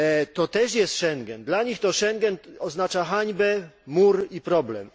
To też jest Schengen, dla nich to Schengen oznacza hańbę, mur i problem.